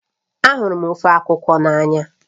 Ahụrụ m ofe akwukwo nri n'anya